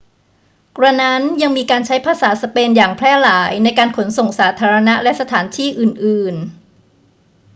กระนั้น ยังมีการใช้ภาษาสเปนอย่างแพร่หลายในการขนส่งสาธารณะและสถานที่อื่นๆ